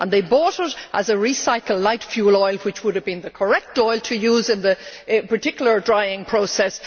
They bought it as a recycled light fuel oil which would have been the correct oil to use in this particular drying process.